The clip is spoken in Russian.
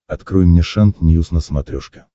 открой мне шант ньюс на смотрешке